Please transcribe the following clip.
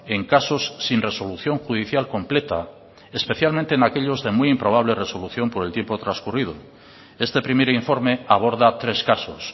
en casos sin resolución judicial completa especialmente en aquellos de muy improbable resolución por el tiempo transcurrido este primer informe aborda tres casos